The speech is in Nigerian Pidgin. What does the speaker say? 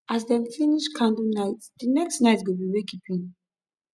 as dem dey finish candlenite di next nite go bi wakekeeping